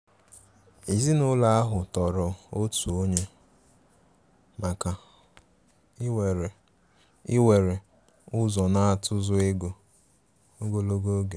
Èzìnụlọ ahụ tòrò òtù ònye maka íwere íwere ụzọ n'atụ̀zụ̀ égò ogologo oge.